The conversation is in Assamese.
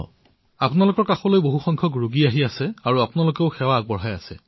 আপোনালোকৰ তালৈ যেতিয়া বৃহৎ সংখ্যাত ৰোগী আহে তেতিয়া আপোনালোক মনেপ্ৰাণে জড়িত হৈ পৰে